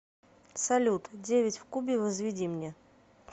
салют девять в кубе возведи мне